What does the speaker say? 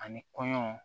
Ani kɔɲɔ